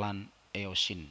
lan eosin